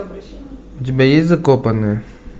у тебя есть закопанные